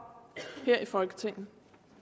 her i folketinget